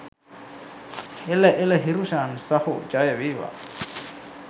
එළ එළ හිරුෂාන් සහෝ ජය වේවා